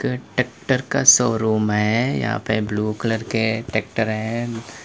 ये ट्रैक्टर का शोरूम है यहां पे ब्लू कलर के ट्रैक्टर है।